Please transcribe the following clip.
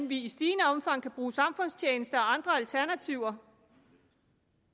vi i stigende omfang kan bruge samfundstjeneste og andre alternativer